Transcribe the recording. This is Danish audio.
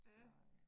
Ja